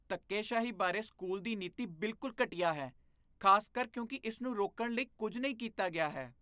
ਧੱਕੇਸ਼ਾਹੀ ਬਾਰੇ ਸਕੂਲ ਦੀ ਨੀਤੀ ਬਿਲਕੁਲ ਘਟੀਆ ਹੈ, ਖ਼ਾਸਕਰ ਕਿਉਂਕਿ ਇਸ ਨੂੰ ਰੋਕਣ ਲਈ ਕੁੱਝ ਨਹੀਂ ਕੀਤਾ ਗਿਆ ਹੈ।